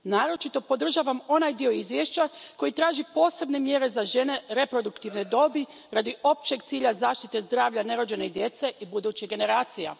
Naročito podržavam onaj dio izvješća koji traži posebne mjere za žene reproduktivne dobi radi općeg cilja zaštite zdravlja nerođene djece i budućih generacija.